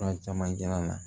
Fura caman kɛla la